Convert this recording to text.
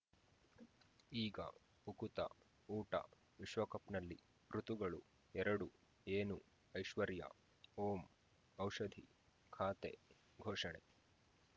ಈಗ ಉಕುತ ಊಟ ವಿಶ್ವಕಪ್‌ನಲ್ಲಿ ಋತುಗಳು ಎರಡು ಏನು ಐಶ್ವರ್ಯಾ ಓಂ ಔಷಧಿ ಖಾತೆ ಘೋಷಣೆ